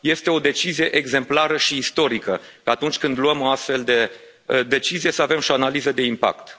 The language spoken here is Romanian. Este o decizie exemplară și istorică ca atunci când luăm o astfel de decizie să avem și o analiză de impact.